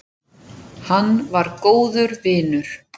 Hann var góður vinur.